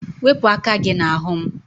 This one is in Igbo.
Wepụ aka gị n'ahụ m!